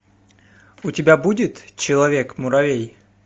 у тебя будет человек муравей